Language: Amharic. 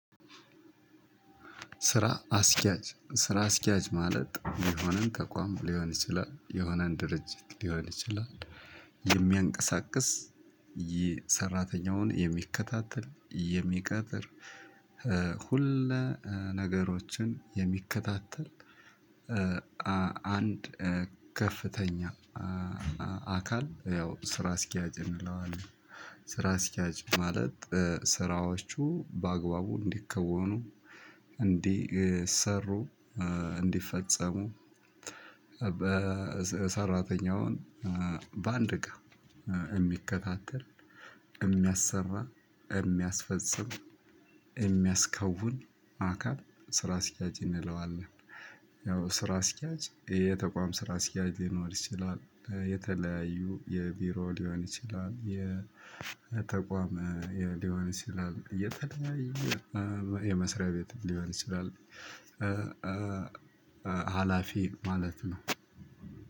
ስራ አስኪያጅ ስራ አስኪያጅ ማለት የሆነን ተቋም ሊሆን ይችላል የሆነን ድርጅት ሊሆን ይችላል። የሚያንቀሳቅስ ይህ ሰራተኛውን የሚከታተል የሚቀጥር ሁለ ነገሮችን የሚከታተል። አንድ ከፍተኛ አካል ያው ስራ አስኪያጅ እንለዋለን። ስራ አስኪያጅ ማለት ስራዎቹ በአግባቡ እንዲከወኑ እንዲሰሩ እንዲፈጸሙ በሰራተኛውን በአንድ ጋር እሚከታተል እሚያሰራ እሚያስፈጽም እሚያስከውን አካል ስራ አስኪያጅ እንለዋለን። ያው ስራ አስኪያጅ የተቋም ስራ አስኪያጅ ሊኖር ይችላል የተለያዩ የቢሮ ሊሆን ይችላል የተቋም የሊሆን ይችላል የተለያዬ የመስሪያ ቤት ሊሆን ይችላል። ሀላፊ ማለት ነው።